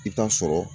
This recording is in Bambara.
I t'a sɔrɔ